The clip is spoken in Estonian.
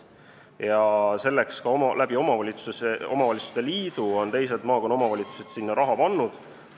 Ka teised Pärnu maakonna omavalitsused on omavalitsuste liidu kaudu sinna raha pannud.